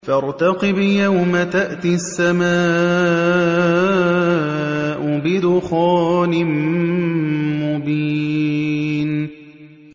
فَارْتَقِبْ يَوْمَ تَأْتِي السَّمَاءُ بِدُخَانٍ مُّبِينٍ